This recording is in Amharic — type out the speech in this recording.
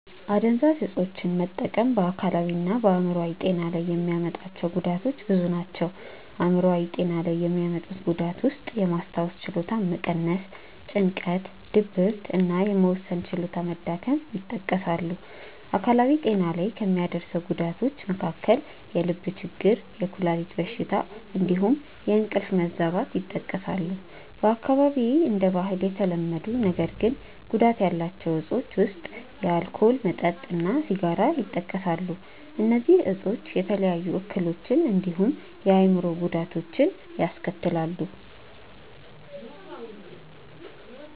አደንዛዥ እፆችን መጠቀም በ አካላዊ እና በ አይምሮአዊ ጤና ላይ የሚያመጣቸው ጉዳቶች ብዙ ናቸው። አይምሯዊ ጤና ላይ የሚያመጡት ጉዳት ውስጥየማስታወስ ችሎታን መቀነስ፣ ጭንቀት፣ ድብርት እና የመወሰን ችሎታ መዳከም ይጠቀሳሉ። አካላዊ ጤና ላይ ከሚያደርሰው ጉዳቶች መካከል የልብ ችግር፣ የኩላሊት በሽታ እንዲሁም የእንቅልፍ መዛባት ይጠቀሳሉ። በአካባቢዬ እንደ ባህል የተለመዱ ነገር ግን ጉዳት ያላቸው እፆች ውስጥ የአልኮል መጠጥ እና ሲጋራ ይጠቀሳሉ። እነዚህ እፆች የተለያዩ የጤና እክሎችን እንዲሁም የአእምሮ ጉዳቶችን ያስከትላሉ።